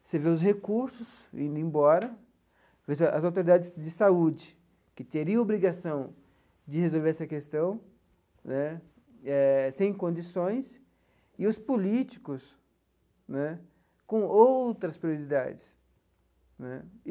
Você vê os recursos indo embora, as autoridades de saúde que teriam obrigação de resolver essa questão né eh sem condições, e os políticos né com outras prioridades né.